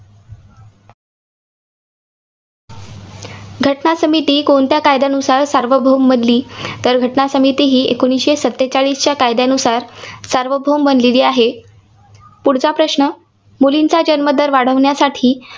घटना समिती कोणत्या कायद्यानुसार सार्वभौम बनली? तर घटना समितीही एकोणीसशे सत्तेचाळीसच्या कायद्यानुसार सार्वभौम बनलेली आहे. पुढचा प्रश्न. मुलींचा जन्मदर वाढवण्यासाठी